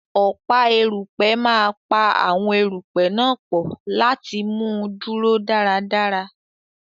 Ọ̀pá erùpẹ̀ máa pa àwọn erùpẹ̀ náà pọ̀ láti mú un dúró dáradára.